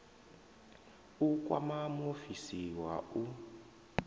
u kwama muofisi wa u